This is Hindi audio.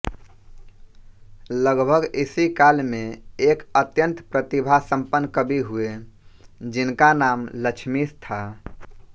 लगभग इसी काल में एक अत्यंत प्रतिभासंपन्न कवि हुए जिनका नाम लक्ष्मीश था